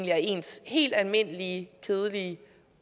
er ens helt almindelige kedelige